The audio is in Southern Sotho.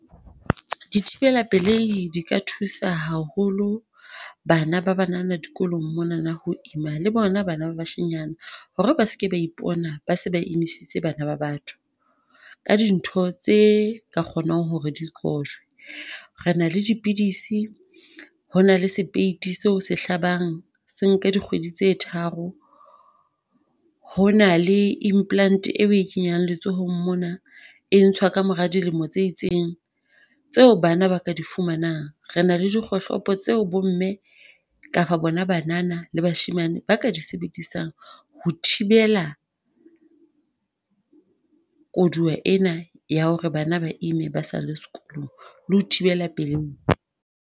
Dithibelapelei di ka thusa haholo bana ba banana dikolong mona ho ima le bona bana ba bashanyana hore ba se ke ba ipona ba se ba e emisitse bana ba batho, ka dintho tse ka kgonang hore di qojwe. Re na le dipidisi, ho na le sepeiti seo se hlabang se nka dikgwedi tse tharo. Ho na le implant eo o e kenyang letsolong mona, e ntshwa ka mora dilemo tse itseng. Tseo bana ba ka di fumanang. Re na le dikgohlopo tseo bomme kapa bona banana le bashemane ba ka di sebedisang ho thibela koduwa ena ya hore bana ba ime ba sa le sekolong le ho thibela pelei.